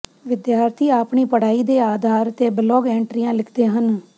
ਵਿਦਿਆਰਥੀ ਆਪਣੀ ਪੜ੍ਹਾਈ ਦੇ ਆਧਾਰ ਤੇ ਬਲੌਗ ਐਂਟਰੀਆਂ ਲਿਖਦੇ ਹਨ